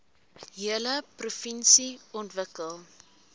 hele provinsie ontwikkel